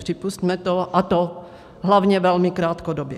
Připusťme to, a to hlavně velmi krátkodobě.